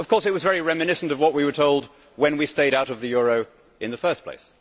Of course it was very reminiscent of what we told when we stayed out of the euro in the first place.